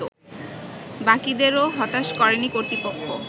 বাকীদেরও হতাশ করেনি কর্তৃপক্ষ